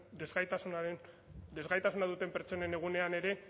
desgaitasunaren desgaitasuna duten pertsonen egunean ere